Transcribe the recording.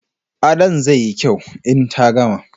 Adon zai yi kyau in ta gama